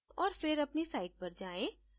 और फिर अपनी site पर जायें